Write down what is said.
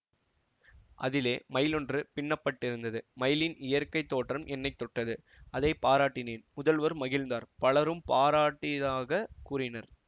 அதிலே மயிலொன்று பின்னப்பட்டிருந்தது மயிலின் இயற்கை தோற்றம் என்னை தொட்டது அதைப்பாராட்டினேன் முதல்வர் மகிழ்ந்தார் பலரும் பாராட்டியதாகக் கூறினார்